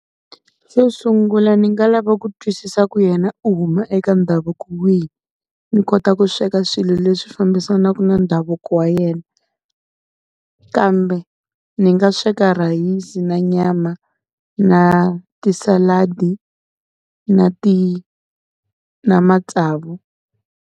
Xo sungula ni nga lava ku twisisa ku yena u huma eka ndhavuko wihi, ni kota ku sweka swilo leswi fambisanaka na ndhavuko wa yena. Kambe ni nga sweka rhayisi na nyama na ti-salad-i na na matsavu.